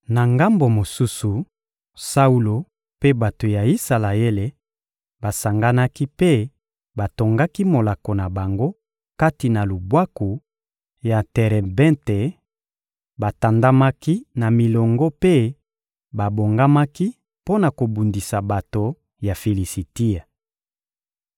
Na ngambo mosusu, Saulo mpe bato ya Isalaele basanganaki mpe batongaki molako na bango kati na lubwaku ya Terebente; batandamaki na milongo mpe babongamaki mpo na kobundisa bato ya Filisitia.